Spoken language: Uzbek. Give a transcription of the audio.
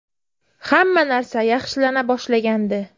Hamma narsa yaxshilana boshlagandi.